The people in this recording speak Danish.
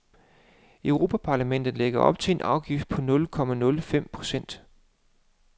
Europaparlamentet lægger op til en afgift på nul komma nul fem procent.